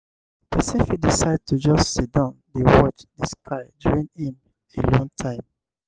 person fit decide to just sidon dey watch di sky during im alone time